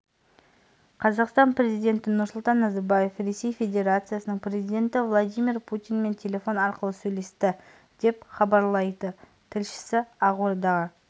қазақстан президенті нұрсұлтан назарбаев ресей федерациясының президенті владимир путинмен телефон арқылы сөйлесті деп хабарлайды тілшісі ақордаға